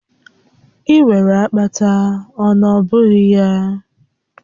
Ị nwere akpata, ọ nọ bụghị gị?